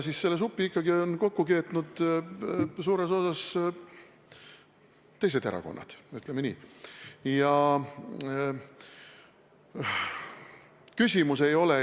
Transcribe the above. Selle supi on ikkagi kokku keetnud suures osas teised erakonnad, ütleme nii.